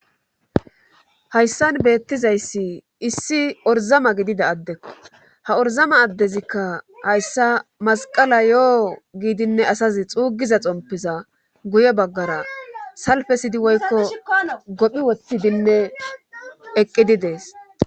hayssan beettizayssi issi orzama gidida addekko ha orzama addezikka hayssa masqala yo7o giidinne asazi xuugiza xompiza guye baggara salfe sidi woykko gophi wottidinne eqqidi dees